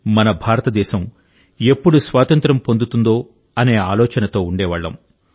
మన భారతదేశం ఎప్పుడు స్వాతంత్ర్యం పొందుతుందో అనే ఆలోచనతో ఉండేవాళ్లం